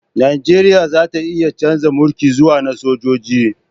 Najeriya za ta iya chanza mulki zuwa na sojoji